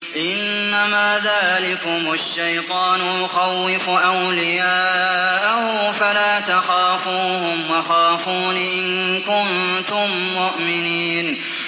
إِنَّمَا ذَٰلِكُمُ الشَّيْطَانُ يُخَوِّفُ أَوْلِيَاءَهُ فَلَا تَخَافُوهُمْ وَخَافُونِ إِن كُنتُم مُّؤْمِنِينَ